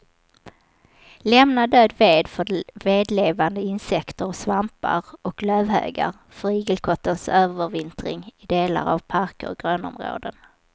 Lämna död ved för vedlevande insekter och svampar och lövhögar för igelkottens övervintring i delar av parker och grönområden.